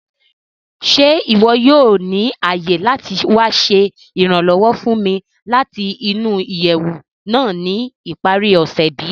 Ṣe iwọ yoo ni aye lati wa ṣe iranlọwọ fun mi lati nu iyẹwu naa ni ipari ose bi?